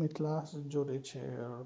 ई class जोरे छे